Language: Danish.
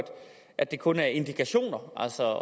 at det kun er indikationer altså